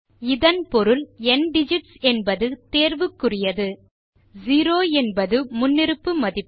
இதன் பொருள் ந்திகிட்ஸ் என்பது தேர்வுக்குறியது 0 என்பது முன்னிருப்பு மதிப்பு